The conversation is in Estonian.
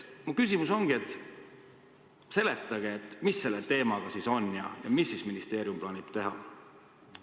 Mu küsimus ongi: seletage, mis selle teemaga ikkagi on ja mida ministeerium plaanib teha?